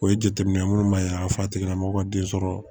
O ye jateminɛ minnu b'a yira a tigila mɔgɔ ka den sɔrɔ